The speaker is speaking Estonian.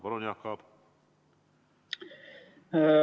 Palun, Jaak Aab!